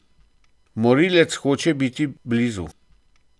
Morilec hoče biti blizu.